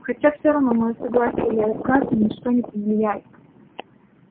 хотя всё равно моё согласие или отказ ни на что не повлияет